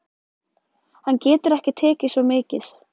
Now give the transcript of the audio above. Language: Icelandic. Hann getur ekki tekið svo mikið.